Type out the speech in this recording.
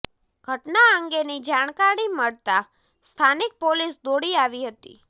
ઘટના અંગેની જાણકારી મળતા સ્થાનિક પોલીસ દોડી આવી હતી